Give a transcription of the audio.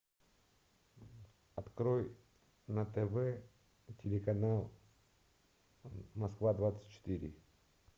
открой на тв телеканал москва двадцать четыре